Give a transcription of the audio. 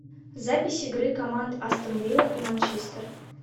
запись игры команд астон вилла и манчестер